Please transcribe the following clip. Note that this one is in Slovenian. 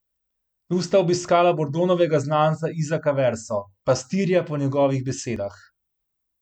Tu sta obiskala Bordonovega znanca Izaka Verso, Pastirja po njegovih besedah.